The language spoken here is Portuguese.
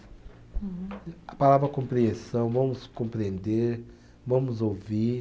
Uhum. A palavra compreensão, vamos compreender, vamos ouvir.